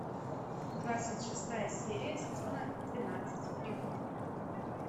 двадцать шестая серия сезона двенадцать прикуп